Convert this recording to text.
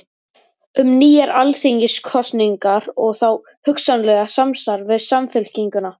Um nýjar alþingiskosningar og þá hugsanlega samstarf við Samfylkinguna?